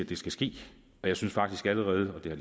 det skal ske jeg synes faktisk allerede og det er